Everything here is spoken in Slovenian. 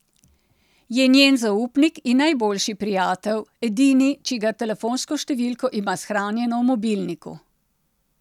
Je njen zaupnik in najboljši prijatelj, edini, čigar telefonsko številko ima shranjeno v mobilniku.